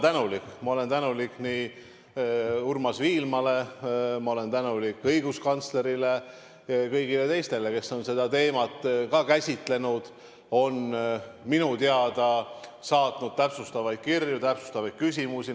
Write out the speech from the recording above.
Ja ma olen tänulik Urmas Viilmale, ma olen tänulik õiguskantslerile ja kõigile teistele, kes on seda teemat ka käsitlenud ning on minu teada saatnud täpsustavaid kirju, täpsustavaid küsimusi.